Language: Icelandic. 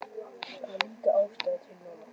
Það var líka ástæða til núna.